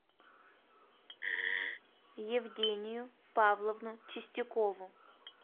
евгению павловну чистякову